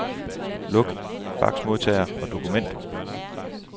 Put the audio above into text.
Luk faxmodtager og dokument.